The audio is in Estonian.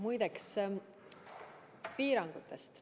Nüüd aga piirangutest.